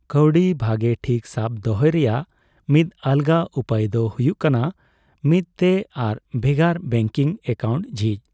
ᱠᱟᱹᱣᱰᱤ ᱵᱷᱟᱜᱮ ᱴᱷᱤᱠ ᱥᱟᱵ ᱫᱚᱦᱚᱭ ᱨᱮᱭᱟᱜ ᱢᱤᱫ ᱟᱞᱜᱟ ᱩᱯᱟᱹᱭ ᱫᱚ ᱦᱩᱭᱩᱜ ᱠᱟᱱᱟ ᱢᱤᱫᱼᱛᱮ ᱟᱨ ᱵᱷᱮᱜᱟᱨ ᱵᱮᱝᱠᱤᱝ ᱮᱠᱟᱣᱩᱱᱴ ᱡᱷᱤᱪ ᱾